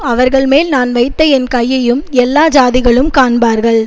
அவர்கள்மேல் நான் வைத்த என் கையையும் எல்லா ஜாதிகளும் காண்பார்கள்